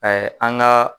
an ka